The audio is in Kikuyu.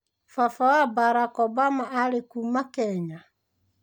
Baba wa Barack Obama arĩ kuma Kenya.